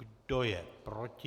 Kdo je proti?